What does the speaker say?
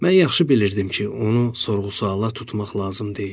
Mən yaxşı bilirdim ki, onu sorğu-suala tutmaq lazım deyil.